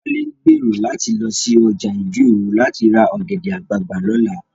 Wálé ń gbèrò láti lọ sí ọjà ìdí òro láti ra ọ̀gẹ̀dẹ̀ àgbagbà lọ́la